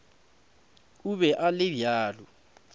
o be a le bjalo